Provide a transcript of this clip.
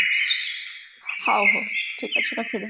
ହଉ ହଉ ଠିକ ଅଛି ରଖିଦେ